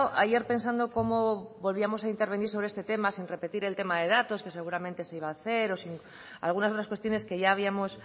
ayer pensando cómo volvíamos a intervenir sobre este tema sin repetir el tema de datos que seguramente se iba a hacer o algunas otras cuestiones que ya habíamos